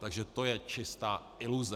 Takže to je čistá iluze!